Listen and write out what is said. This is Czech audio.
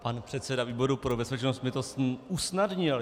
Pan předseda výboru pro bezpečnost mi to usnadnil.